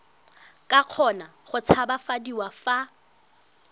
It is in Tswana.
ka kgona go tshabafadiwa fa